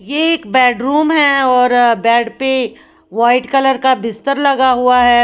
ये एक bedroom है और बेड पे व्हाइट कलर का बिस्तर लगा हुआ है।